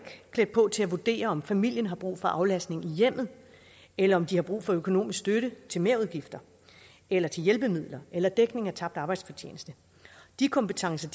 klædt på til at vurdere om familien har brug for aflastning i hjemmet eller om de har brug for økonomisk støtte til merudgifter eller til hjælpemidler eller dækning af tabt arbejdsfortjeneste de kompetencer